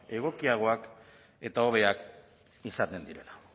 egokiagoak eta hobeak izaten direla